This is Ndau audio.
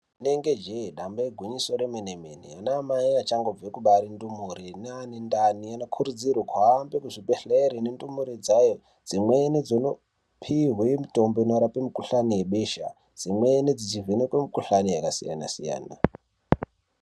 Rinenge jee damba igwinyiso remene-mene vana vachangobva kubare ndumure nevane ndani vanokurudzirwa kuhambe kuzvibhedhlera nendumure dzayo dzimweni dzinopiwa mitombo inonorape mukuhlani webesha dzimweni dzechivhenekwa mikuhlani yakasiyana siyana.